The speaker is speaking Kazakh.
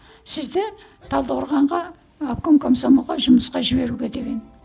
сізді талдықорғанға ы обком комсомолға жұмысқа жіберуге деген